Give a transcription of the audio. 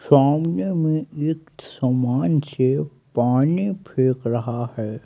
सामने में एक समान से पानी फेंक रहा है।